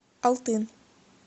алтын